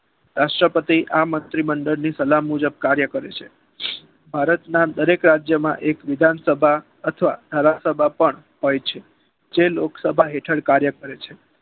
રાષ્ટ્રપતિ આ મંત્રીમંડળની સલાહ મુજબ કામ કરે છે. ભારતના દરેક રાજ્યમાં એક વિધાનસભા અથવા ધારાસભા પણ હોય છે. જે લોકસભા હેઠળ કાર્ય કરે છે.